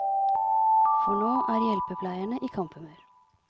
For nå er hjelpepleierne i kamphumør.